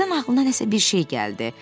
Birdən ağlına nəsə bir şey gəldi.